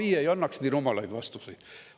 AI ei annaks nii rumalaid vastuseid.